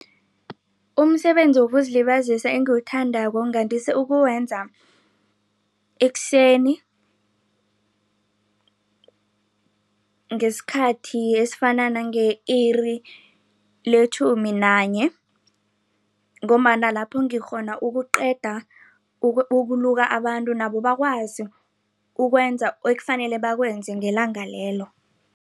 Umsebenzi wokuzilibazisa engiwuthandako ngandise ukuwenza ekuseni ngesikhathi esifana nange-iri letjhumi nanye. Ngombana lapho ngikghona ukuqeda ukuluka abantu nabo bakwazi ukwenza ekufanele bakwenze ngelanga lelo.